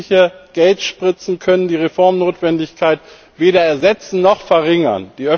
Öffentliche Geldspritzen können die Reformnotwendigkeit weder ersetzen noch verringern.